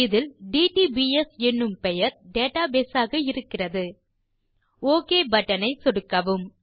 இதில் டிடிபிஎஸ் என்னும் பெயர் டேட்டாபேஸ் ஆக இருக்கிறது ஒக் பட்டன் ஐ சொடுக்கவும்